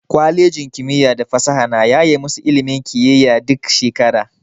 Kwalejin kimiyya da fasaha na yaye masu ilimin kiyiya duk shekara.